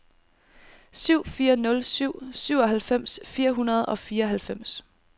syv fire nul syv syvoghalvfems fire hundrede og fireoghalvfems